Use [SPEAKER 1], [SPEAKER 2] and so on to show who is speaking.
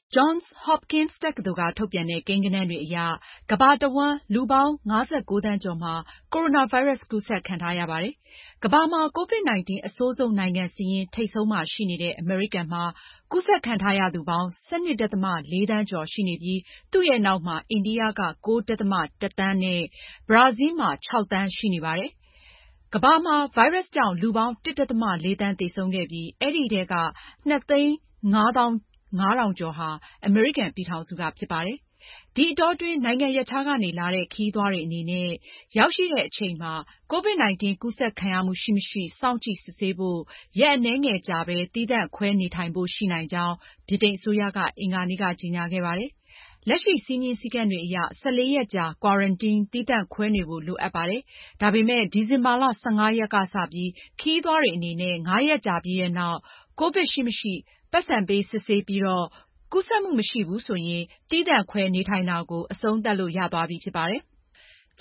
[SPEAKER 1] Johns Hopkins တက္ကသိုလ်က ထုတ်ပြန်တဲ့ ကိန်းဂဏန်းတွေအရ ကမ္ဘာတဝှမ်း လူပေါင်း ၅၉ သန်းကျော်မှာ ကိုရိုနာဗိုင်းရပ်စ်ကူးစက်ခံထားရပါတယ်။ ကမ္ဘာမှာ COVID-19 အဆိုးဆုံးနိုင်ငံစာရင်း ထိပ်ဆုံးမှာရှိနေတဲ့ အမေရိကန်မှာ ကူးစက်ခံထားရသူပေါင်း ၁၂.၄ သန်းကျော်ရှိနေပြီး၊ သူ့ရဲ့ နောက်မှာ အိန္ဒိိယက ၉.၁ သန်းနဲ့ ဘရာဇီးလ်မှာ ၆ သန်းရှိနေပါတယ်။ ကမ္ဘာမှာ ဗိုင်းရပ်စ်ကြောင့်လူပေါင်း ၁.၄ သန်းသေဆုံးခဲ့ပြီး အဲဒီထဲက၂၅၅,၀၀၀ ကျော်ဟာ အမေရိကန်ပြည်ထောင်စုကဖြစ်ပါတယ်။ ဒီအတောအတွင်း နိုင်ငံရပ်ခြားကနေ လာတဲ့ ခရီးသွားတွေအနေနဲ့ ရောက်ရှိတဲ့ အချိန်မှာ COVID-19 ကူးစက်ခံရမှု ရှိမရှိ စောင့်ကြည့်စစ်ဆေးဖို့ ရက်အနည်းငယ်ကြာပဲ သီးသန့်ခွဲနေထိုင်ရဖို့ ရှိနိုင်ကြောင်း ဗြိတိန်အစိုးရက အင်္ဂါနေ့က ကြေညာခဲ့ပါတယ်။ လက်ရှိ စည်းမျဉ်းစည်းကမ်းတွေအရ ၁၄ရက်ကြာ Quarantine သီးသန့်ခွဲနေဖို့ လိုအပ်ပါတယ်။ ဒါပေမဲ့ ဒီဇင်ဘာလ ၁၅ ရက်က စပြီး ခရီးသွားတွေအနေနဲ့ ငါးရက်ကြာပြီးနောက် ကိုဗစ်ရှိမရှိ ပိုက်ဆံပေး စစ်ဆေးပြီးတော့ ကူးစက်မှုမရှိဘူးဆိုရင် သီးသန့်ခွဲနေထိုင်တာကို အဆုံးသတ်လို့ ရသွားပြီဖြစ်ပါတယ်။